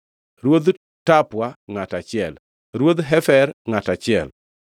Ruodh Tapua, ngʼato achiel, Ruodh Hefer, ngʼato achiel,